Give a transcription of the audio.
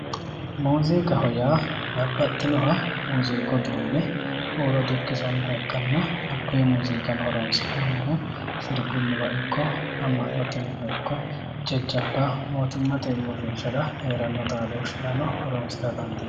Muuziiqaho yaa babbaxxinoha muuziiqu uduunne huuro dukkisannoha ikkanna konne muuziiqano horoonsi'nannihu sirbunniwa ikko amma'note mine ikko jajjabba mootimmate uurrinshara heeranno xaadooshshirano horoonsira dandiineemmo.